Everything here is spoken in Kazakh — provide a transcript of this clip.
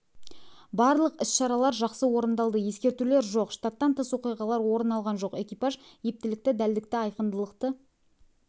барлық іс-шаралар жақсы орындалды ескертулер жоқ штаттан тыс оқиғалар орын алған жоқ экипаж ептілікті дәлдікті айқындылықты